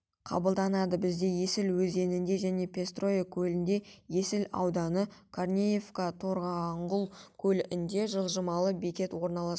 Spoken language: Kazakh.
қабылданады бізде есіл өзенінде және пестрое көлінде есіл ауданы корнеевка торанғұл көлінде жылжымалы бекет орналасқан